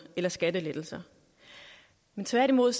eller skattelettelser tværtimod